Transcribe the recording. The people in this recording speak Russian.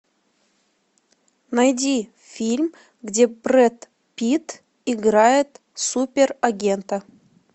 найди фильм где брэд питт играет суперагента